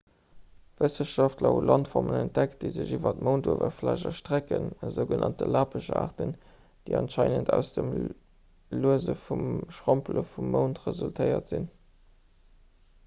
wëssenschaftler hu landformen entdeckt déi sech iwwer d'mounduewerfläch erstrecken esou genannt lappeschaarten déi anscheinend aus dem luese vum schrompele vum mound resultéiert sinn